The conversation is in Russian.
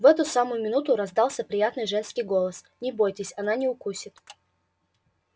в эту самую минуту раздался приятный женский голос не бойтесь она не укусит